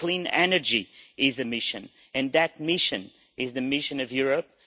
Clean energy is a mission and that mission is the mission of Europe